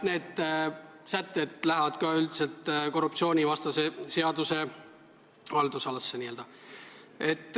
Need sätted lähevad üldiselt ka korruptsioonivastase seaduse n-ö haldusalasse.